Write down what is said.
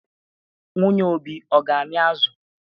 Nwunye Obi ọ ga-amị azụ?